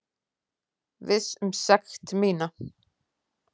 Viss um sekt mína.